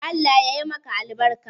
Allah yayi maka albarka.